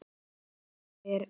Guð, þau eru of mörg.